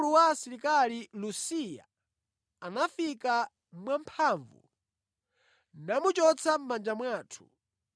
Koma, mkulu wa asilikali Lusiya anafika mwamphamvu namuchotsa mʼmanja mwathu.